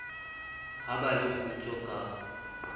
ha ba le kgutso ka